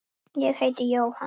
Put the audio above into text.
Ég heiti Jóhann.